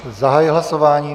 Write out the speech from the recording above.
Zahajuji hlasování.